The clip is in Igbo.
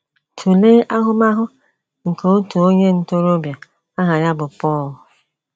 Tụlee ahụmahụ nke otu onye ntorobịa aha ya bụ Paul.